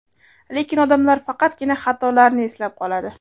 Lekin odamlar faqatgina xatolarni eslab qoladi.